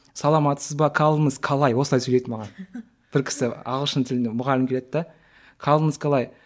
саламатсыз ба калыңыз калай осылай сөйлейді маған бір кісі ағылшын тілінде мұғалім келеді де калыңыз қалай